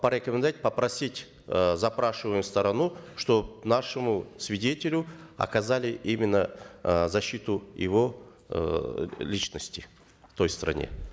порекомендовать попросить э запрашиваемую сторону чтобы нашему свидетелю оказали именно э защиту его эээ личности в той стране